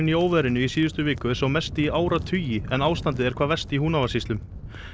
í óveðrinu í síðustu viku er sá mesti í áratugi en ástandið er hvað verst í Húnavatnssýslum